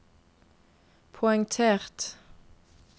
poengtert